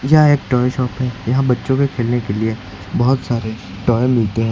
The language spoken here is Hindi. यह एक टॉय शॉप है। यहां बच्चों के खेलने के लिए बहुत सारे टॉय मिलते हैं।